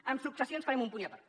amb successions farem un punt i apart